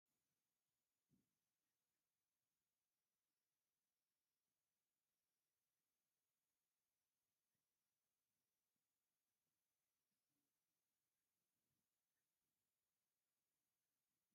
ናይ ጨጉሪ ማጥቆርያ ይርአ ኣሎ፡፡ ሰባት ጨጉሮም ድሙቕ ፀሊም ወይ ካልእ ሕብሪ ክህልዎ እንትደልዩ ነዚ ይጥቀሙ፡፡ ግን እዚ ቀለም ምጥቃም ይምከር ዶ?